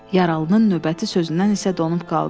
Yaralının növbəti sözündən isə donub qaldı.